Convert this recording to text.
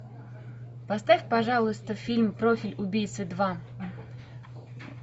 поставь пожалуйста фильм профиль убийцы два